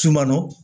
Sumano